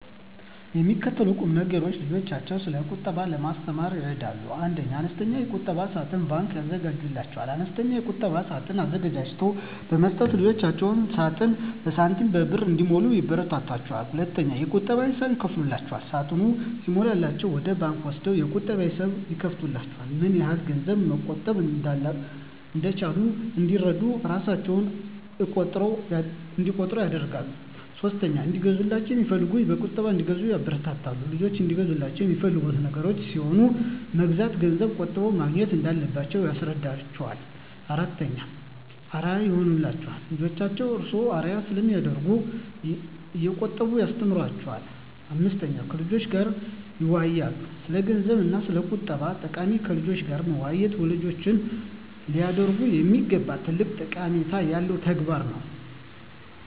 የሚከተሉት ቁምነገሮች ልጆችን ስለቁጠባ ለማስተማር ይረዳሉ 1. አነስተኛ የቁጠባ ሳጥን (ባንክ) ያዘጋጁላቸው፦ አነስተኛ የቁጠባ ሳጥን አዘጋጅቶ በመስጠት ልጆችዎ ሳጥኑን በሳንቲሞችና በብር እንዲሞሉ ያበረታቷቸው። 2. የቁጠባ ሂሳብ ይክፈቱላቸው፦ ሳጥኑ ሲሞላላቸው ወደ ባንክ ወስደው የቁጠባ ሂሳብ ይክፈቱላቸው። ምንያህል ገንዘብ መቆጠብ እንደቻሉ እንዲረዱ እራሣቸው እቆጥሩ ያድርጉ። 3. እንዲገዛላቸው የሚፈልጉትን በቁጠባ እንዲገዙ ያበረታቱ፦ ልጆችዎ እንዲገዙላቸው የሚፈልጉት ነገር ሲኖር መግዣውን ገንዘብ ቆጥበው ማግኘት እንዳለባቸው ያስረዷቸው። 4. አርአያ ይሁኗቸው፦ ልጆችዎ እርስዎን አርአያ ስለሚያደርጉ እየቆጠቡ ያስተምሯቸው። 5. ከልጆችዎ ጋር ይወያዩ፦ ስለገንዘብ እና ስለቁጠባ ጠቀሜታ ከልጆች ጋር መወያየት ወላጆች ሊያደርጉት የሚገባ ትልቅ ጠቀሜታ ያለው ተግባር ነው።